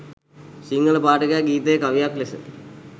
සිංහල පාඨකයා ගීතය කවියක් ලෙස